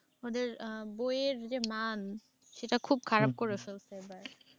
ওদের হম বইয়ের যে মান সেটা খুব খারাপ করে ফেলছে।